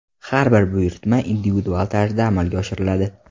Har bir buyurtma individual tarzda amalga oshiriladi.